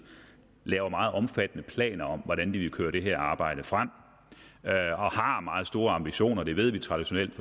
har en meget omfattende plan om hvordan de vil køre det her arbejde frem og har meget store ambitioner det ved vi traditionelt